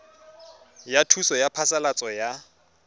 ya thuso ya phasalatso ya